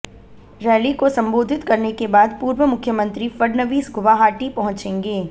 rally को संबोधित करने के बाद पूर्व मुख्यमंत्री फड़नवीस गुवाहाटी पहुंचेंगे